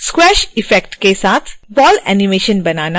squash effect के साथ ball animation बनाना